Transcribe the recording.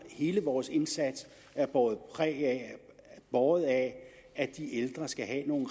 hele vores indsats er båret af båret af at de ældre skal have nogle